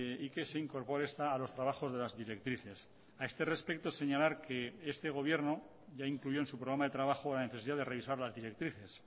y que se incorpore esta a los trabajos de las directrices a este respecto señalar que este gobierno ya incluyó en su programa de trabajo la necesidad de revisar las directrices